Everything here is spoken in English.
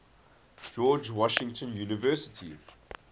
george washington university